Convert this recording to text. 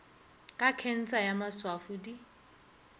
ka khensa ya maswafo di